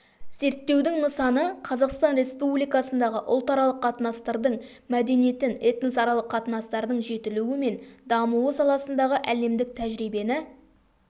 зерттеудің нысаны қазақстан республикасындағы ұлтаралық қатынастардың мәдениетін этносаралық қатынастардың жетілуі мен дамуы саласындағы әлемдік тәжірибені